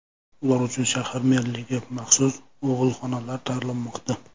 Ular uchun shahar merligi maxsus og‘ilxonalar tayyorlamoqda.